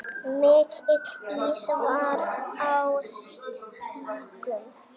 Mikill ís var á stígum.